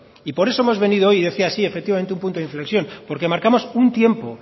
por eso hemos venido hoy yo decía sí efectivamente un punto de inflexión porque marcamos un tiempo